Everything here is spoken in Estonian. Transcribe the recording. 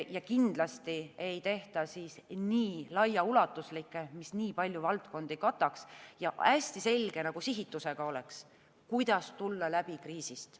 Ja kindlasti ei tehta nii laiaulatuslikke, mis nii paljusid valdkondi kataks ja hästi selge sihitusega oleks: kuidas tulla läbi kriisist.